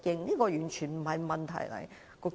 這完全不是問題。